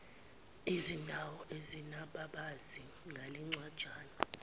ezindawo ezinababazi ngalencwajana